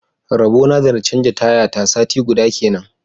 Rabona da na canja taya ta sati guda kenan.